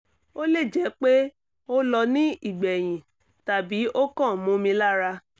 ó lè jẹ́ pé ó lọ ní ìgbẹ̀yìn tàbí o kan momi lara